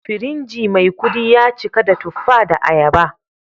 Firinji Maikudi ya cika da tuffa da ayaba